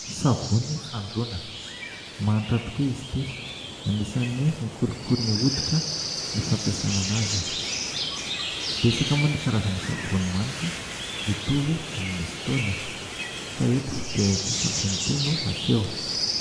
Savony fandroana, manitra tokoa izy ity, anisany mikolokolo ny hoditra ny fampiasanana anazy, betsaka moa ny karazana savony manitra mitovy amin'izy itony fa eto dia ity savony ity no aseho.